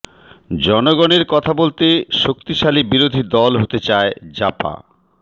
জনগণের কথা বলতে শক্তিশালী বিরোধী দল হতে চায় জাপা